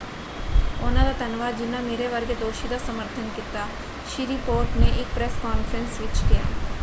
ਉਹਨਾਂ ਦਾ ਧੰਨਵਾਦ ਜਿੰਨ੍ਹਾਂ ਮੇਰੇ ਵਰਗੇ ਦੋਸ਼ੀ ਦਾ ਸਮਰਥਨ ਕੀਤਾ” ਸ੍ਰੀਪੋਰਟ ਨੇ ਇਕ ਪ੍ਰੈਸ ਕਾਰਫਰੰਸ ਵਿੱਚ ਕਿਹਾ।